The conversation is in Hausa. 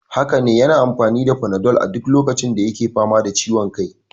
Haka ne, yana amfani da panadol a duk lokacin da yake fama da ciwon kai.